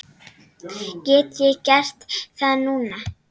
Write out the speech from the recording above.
Get ég gert það núna?